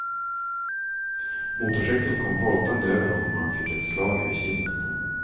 Motorcykeln kom voltande över honom och han fick ett slag över kinden.